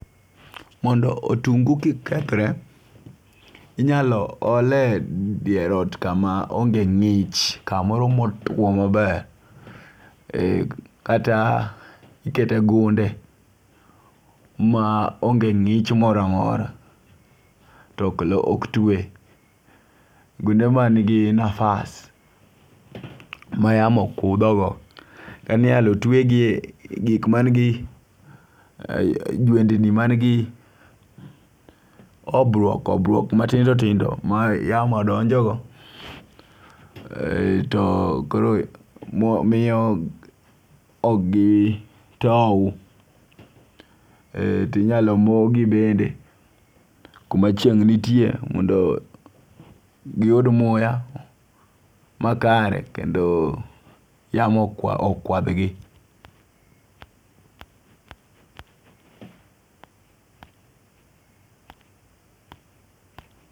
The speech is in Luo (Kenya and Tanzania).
Mondo otungu kik kethre, inyalo ole dier ot kama onge ng'ich kamoro motwo maber, kata ikete gunde ma onge ng'ich moramora, tok lo ok twe, gunde manigi nafas mayamo kudho go . Inyalo twegi e gik manigi jwendni man gi obok obwok matindo tindo mayamo donjogo to koro miyo ok gitow . Tinyalo mogi bende kuma chieng' nitie mondo giyud muya makare kendo yamo okwa okwadh gi